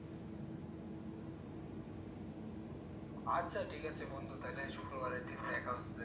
আচ্ছা ঠিক আছে বন্ধু তাহলে শুক্রবারের দিন দেখা হচ্ছে ।